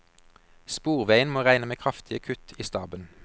Sporveien må regne med kraftige kutt i staben.